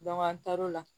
an taar'o la